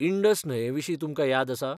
Indus न्हंये विशीं तुमकां याद आसा?